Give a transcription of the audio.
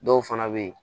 Dɔw fana bɛ yen